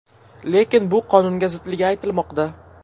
Lekin bu qonunga zidligi aytilmoqda.